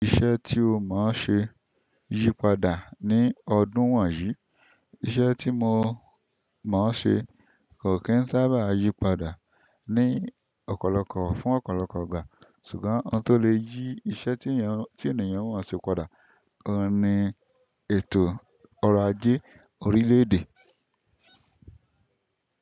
Iṣẹ́ tí ó mọ̀ ṣe yípadà ni ọdún won yìí. Iṣẹ́ tí mo mọ̀ ṣe kò kí n sábà yípadà ní ọ̀pọ̀lọpọ̀ fún ọ̀pọ̀lọpọ̀ igbá, ṣùgbọ́n ohun tó lè yí iṣẹ́ tí eyan ti ènìyàn wọ̀n ṣe padà, gan ni ètò ọrọ̀ ajé orílẹ̀ èdè.